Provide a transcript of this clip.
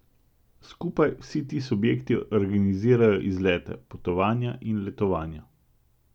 Skupaj vsi ti subjekti organizirajo izlete, potovanja in letovanja.